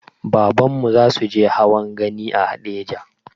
Babanmu zasuje hawan gani a haɗeja